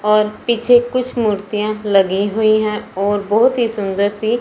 और पीछे कुछ मूर्तियां लगी हुई है और बहोत ही सुन्दर सी --